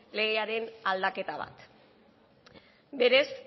legearen aldaketa bat berez